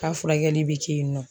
K'a furakɛli bɛ kɛ yen nɔ